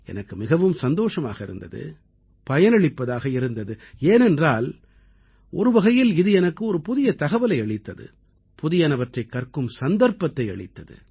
எனக்கு மிகவும் சந்தோஷமாக இருந்தது பயனளிப்பதாக இருந்தது ஏனென்றால் ஒரு வகையில் இது எனக்கு ஒரு புதிய தகவலை அளித்தது புதியனவற்றைக் கற்கும் சந்தர்ப்பத்தை அளித்தது